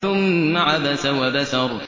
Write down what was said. ثُمَّ عَبَسَ وَبَسَرَ